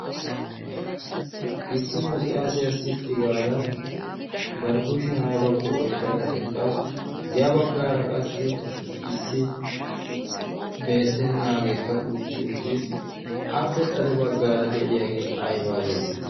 issi maccaasiyaa sitti gaada barkkushiyan aybakko oyqqada eqqasu ya baggaara qassi issi beettennaageekka uutti uttiis appe xade baggaara de'iyaagee aybaa geetetti